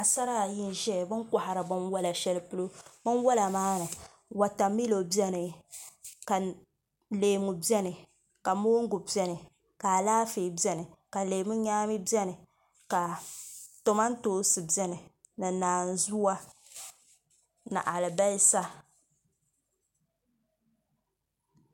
Paɣasara ayi n biɛni bi ni kohari binwola shɛli polo binwola maa ni wotamilo biɛni ka leemu biɛni ka mongu biɛni ka Alaafee biɛni ka leemu nyaami biɛni ka kamantoosi biɛni ni naanzuwa ni alibarisa